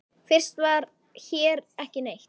Fyrst var hér ekki neitt.